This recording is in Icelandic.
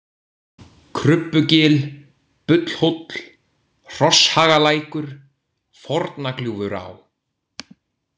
Krubbugil, Bullhóll, Hrosshagalækur, Forna-Gljúfurá